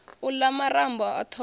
u la marambo a thoho